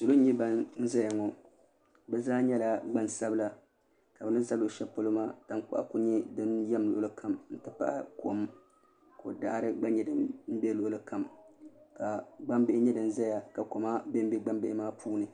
Salo N ʒɛya ŋo bi zaa nyɛla gban sabila ka bin ʒɛ shɛli polo maa tankpaɣu ku yɛm di luɣuli kam n ti pahi kom ko daɣari gba nyɛ din bɛ luɣuli kam ka gbambihi nyɛ din ʒɛya ka koma bɛnbɛ gbambihi maa puuni